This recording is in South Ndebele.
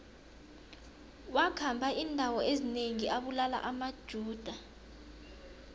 wakhamba indawo ezinengi abulala amajuda